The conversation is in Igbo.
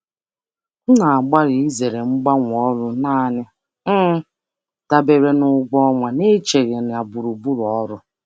Ana um m agbalị izere ịgbanwe ọrụ naanị dabere na ụgwọ um ọrụ um n'atụleghị ebe ọrụ.